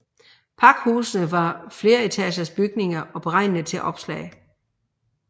Pakhusene var fleretagers bygninger beregnede til oplag